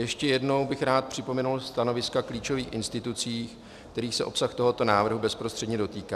Ještě jednou bych rád připomenul stanoviska klíčových institucí, kterých se obsah tohoto návrhu bezprostředně dotýká.